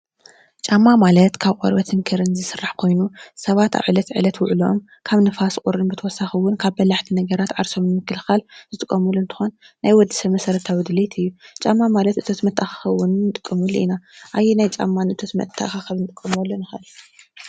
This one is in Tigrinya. ጫማ ማለት ካብ ቆርበትን ክርን ዝስራሕ ኮይኑ ሰባት ዕለት ዕለት ውዕለኦም ካብ ንፋስ ቁርን ብተወሳኪ እውን ካብ በላሕቲ ነገራት ዓርሶም ንምክልኻል ዝጥቀምሉ እንትኾን ናይ ወድሰብ መሰረታዊ ድልየት እዩ። ጫማ ማለት እቶት መትአኻኸቢ እውን እንጥቀመሉ ኢና አየናይ ጫማ ንእቶት መትአኻኸቢ ንጥቀመሉ ንክእል?